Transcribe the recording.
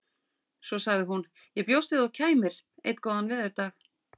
Svo sagði hún: Ég bjóst við að þú kæmir. einn góðan veðurdag